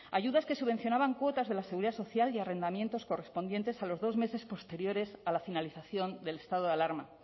ayudas que subvencionaban cuotas de la seguridad social y arrendamientos correspondientes a los dos meses posteriores a la finalización del estado de alarma